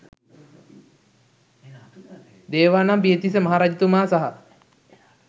දේවානම්පියතිස්ස මහරජතුමා සහ